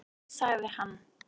"""Nei, sagði hann."""